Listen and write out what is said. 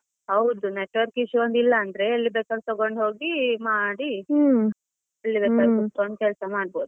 ಹೌದು network issue ಒಂದು ಇಲ್ಲಾಂದ್ರೆ ಎಲ್ಲಿ ಬೇಕಾದ್ರು ತಗೊಂಡು ಹೋಗಿ ಮಾಡಿ, ಬೇಕಾದ್ರೂ ಕೂತ್ಕೊಂಡು ಕೆಲಸ ಮಾಡ್ಬೋದು.